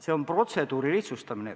See on protseduuri lihtsustamine.